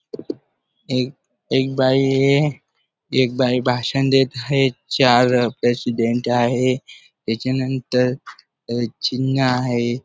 एक एक बाई हाये एक बाई भाषण देत हाये चार प्रेसिडेंट हाये त्याच्यानंतर अह चिन्ह हाये.